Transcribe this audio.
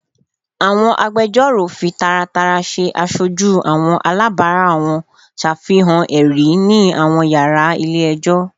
Awọn agbẹjọro fi taratara ṣe aṣoju awọn alabara wọn, ṣafihan ẹri ni awọn yara ile-ẹjọ